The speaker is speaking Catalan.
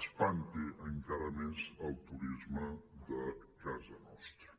espanti encara més el turisme de casa nostra